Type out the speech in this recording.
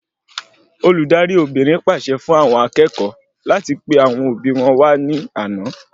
Olùdarí Obìnrin pàṣẹ fún àwọn akẹ́kọ̀ọ́ láti pe àwọn òbí wọn wà ní àna